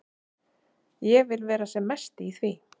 Ég vil vera sem mest í því.